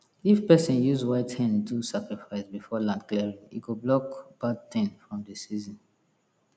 if person use white hen do sacrifice before land clearing e go block bad thing from the season